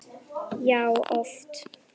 Já, oft!